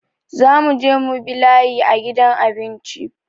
Za mu je mu bi layi a gidan abinci